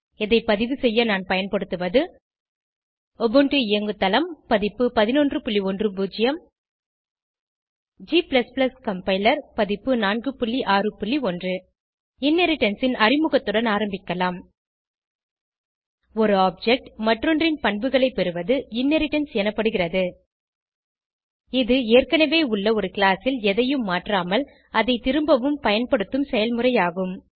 இதை பதிவுசெய்ய நான் பயன்படுத்துவது உபுண்டு இயங்குதளம் பதிப்பு 1110 g கம்பைலர் பதிப்பு 461 இன்ஹெரிடன்ஸ் ன் அறிமுகத்துடன் ஆரம்பிக்கலாம் ஒரு ஆப்ஜெக்ட் மற்றொன்றின் பண்புகளை பெறுவது இன்ஹெரிடன்ஸ் எனப்படுகிறது இது ஏற்கனவே உள்ள ஒரு கிளாஸ் ல் எதையும் மாற்றாமல் அதை திரும்பவும் பயன்படுத்தும் செயல்முறை ஆகும்